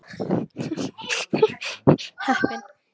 Nú er ég kominn til Spánar.